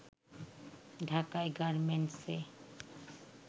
ঢাকায় গার্মেন্টস-এ